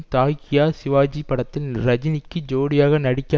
தாக்கியா சிவாஜி படத்தில் ரஜினிக்கு ஜோடியாக நடிக்க